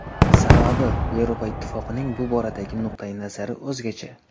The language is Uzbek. Sababi Yevropa Ittifoqining bu boradagi nuqtai nazari o‘zgacha.